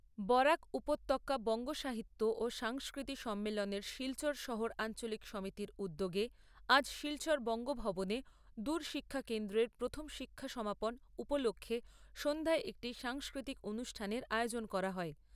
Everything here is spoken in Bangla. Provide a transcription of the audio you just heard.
বরাক উপত্যকা বঙ্গ সাহিত্য ও সংস্কৃতি সম্মেলনের শিলচর শহর আঞ্চলিক সমিতির উদ্যোগে আজ শিলচর বঙ্গ ভবনে দূর শিক্ষা কেন্দ্রের প্রথম শিক্ষা সমাপন উপলক্ষ্যে সন্ধ্যায় একটি সাংস্কৃতিক অনুষ্ঠানের আয়োজন করা হয়।